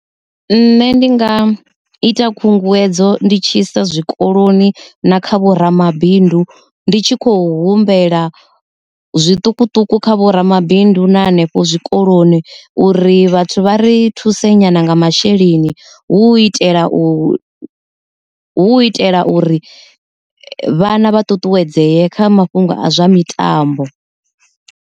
Nṋe ndi nga ita khunguwedzo ndi tshi sa zwikoloni na kha vhoramabindu ndi tshi kho humbela zwiṱukuṱuku kha vhoramabindu na hanefho zwikoloni uri vhathu vha ri thuse nyana nga masheleni hu u itela u hu itela uri vhana vha ṱuṱuwedzee kha mafhungo a zwa mitambo.